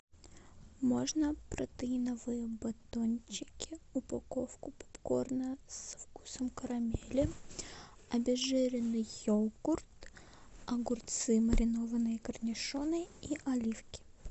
можно протеиновые батончики упаковку попкорна со вкусом карамели обезжиренный йогурт огурцы маринованные корнишоны и оливки